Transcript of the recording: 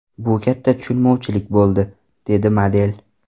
Bu katta tushunmovchilik bo‘ldi”, − dedi model.